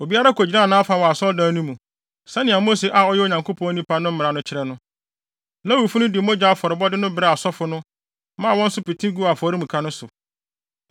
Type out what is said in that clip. Obiara kogyinaa nʼafa wɔ Asɔredan no mu, sɛnea Mose a ɔyɛ Onyankopɔn nipa no mmara no kyerɛ no. Lewifo no de mogya afɔrebɔde no brɛɛ asɔfo no, maa wɔn nso pete guu afɔremuka no so.